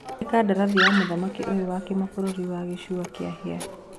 Harĩ kandarathi ya mũthaki ũyũ wa kĩmabũrũri wa Gicũa kĩa Hĩa.